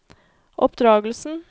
oppdragelsen